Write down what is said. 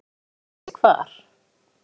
Hún spurði hvort hann vissi hvar